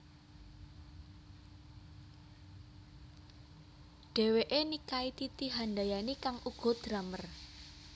Dhèwèké nikahi Titi Handayani kang uga drummer